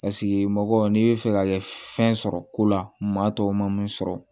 mɔgɔ n'i bɛ fɛ ka kɛ fɛn sɔrɔ ko la maa tɔw ma mun sɔrɔ